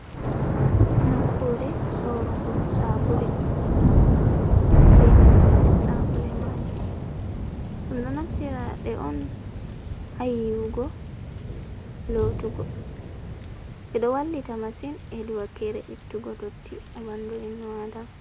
Nokkure sorugo sabule be nanta sabule majum, ɗum ɗo naftira ɗe on ha yiwugo, lotugo, ɗe ɗo wallita masin hedi wakkere ittugo dotti ha bandu ibnu adama.